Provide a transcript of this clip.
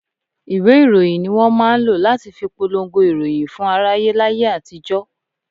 Ìwé ìròyìn ni wọn máa ń lọ láti fi polongo ìròyìn fún aráyé láyé àtijó.